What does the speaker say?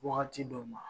Wagati dɔw ma